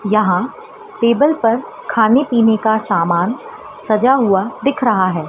यहां टेबल पर खाने पीने का सामान सजा हुआ दिख रहा है।